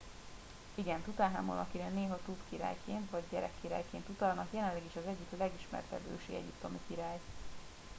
igen! tutanhamon akire néha tut király”-ként vagy gyerekkirály”-ként utalnak jelenleg is az egyik legismertebb ősi egyiptomi király